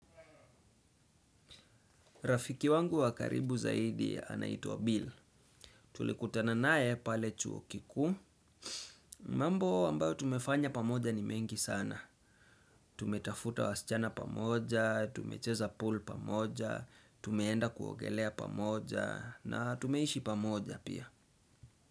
Rafiki wangu wa karibu zaidi anaitwa Bill. Tulikutana naye pale chuo kikuu. Mambo ambayo tumefanya pamoja ni mengi sana. Tumetafuta wasichana pamoja tumecheza pool pamoja tumeenda kuogelea pamoja na tumeishi pamoja pia.